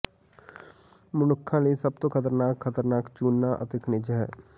ਮਨੁੱਖਾਂ ਲਈ ਸਭ ਤੋਂ ਖ਼ਤਰਨਾਕ ਖਤਰਨਾਕ ਚੂਨਾ ਅਤੇ ਖਣਿਜ ਹੈ